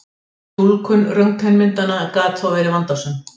Túlkun röntgenmyndanna gat þó verið vandasöm.